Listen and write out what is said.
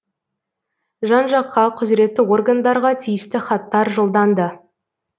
жан жаққа құзіретті органдарға тиісті хаттар жолданды